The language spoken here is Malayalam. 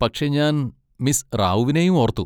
പക്ഷെ ഞാൻ മിസ് റാവുവിനെയും ഓർത്തു.